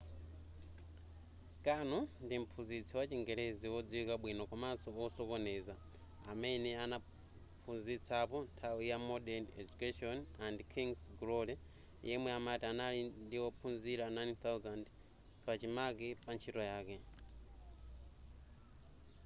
karno ndi mphunzitsi wa chingelezi wodziwika bwino komanso wosokoneza amene anaphunzitsapo nthawi ya modern education and king's glory yemwe amati anali ndi ophunzira 9,000 pachimake pa ntchito yake